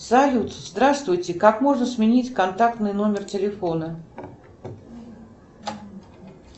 салют здравствуйте как можно сменить контактный номер телефона